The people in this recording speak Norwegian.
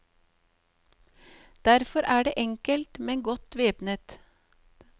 Derfor er de enkelt, men godt væpnet.